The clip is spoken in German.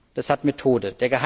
Das hat Methode.